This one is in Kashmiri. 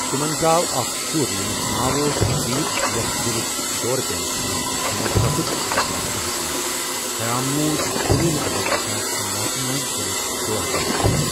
تمن زاو اَکھ شُر ییٚمس ناو اوس پردیپ یس دلک دورٕ پٮ۪نہٕ سۭتۍ موت سَپُد زٕ ساس بہس منٛز خیام مود کُنوُہمہِ اَگَست زٕساس کُنوُہمہس منٛز دلک دورٕ پٮ۪نہِ سۭتۍ۔